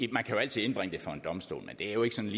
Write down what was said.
man kan jo altid indbringe det for en domstol men det er jo ikke sådan